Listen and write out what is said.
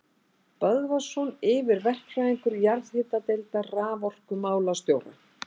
Böðvarsson yfirverkfræðingur jarðhitadeildar raforkumálastjóra.